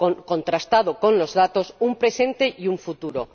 contrastado con los datos, un presente y un futuro.